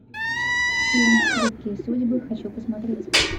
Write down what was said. фильм хрупкие судьбы хочу посмотреть